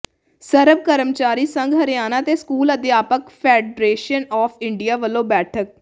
ਸਰਬ ਕਰਮਚਾਰੀ ਸੰਘ ਹਰਿਆਣਾ ਤੇ ਸਕੂਲ ਅਧਿਆਪਕ ਫੈਡਰੇਸ਼ਨ ਆਫ ਇੰਡੀਆ ਵਲੋਂ ਬੈਠਕ